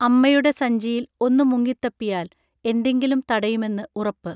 അമ്മയുടെ സഞ്ചിയിൽ ഒന്നു മുങ്ങിത്തപ്പിയാൽ എന്തെങ്കിലും തടയുമെന്ന് ഉറപ്പ്